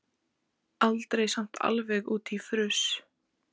Aldrei samt alveg út í fruss.